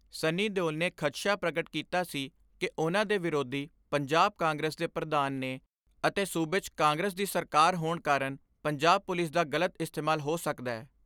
ਸੰਨੀ ਦਿਓਲ ਨੇ ਖਦਸ਼ਾ ਪ੍ਰਗਟ ਕੀਤਾ ਸੀ ਕਿ ਉਨ੍ਹਾਂ ਦੇ ਵਿਰੋਧੀ ਪੰਜਾਬ ਕਾਂਗਰਸ ਦੇ ਪ੍ਰਧਾਨ ਨੇ ਅਤੇ ਸੂਬੇ 'ਚ ਕਾਂਗਰਸ ਦੀ ਸਰਕਾਰ ਹੋਣ ਕਾਰਨ ਪੰਜਾਬ ਪੁਲਿਸ ਦਾ ਗਲਤ ਇਸਤੇਮਾਲ ਹੋ ਸਕਦੈ।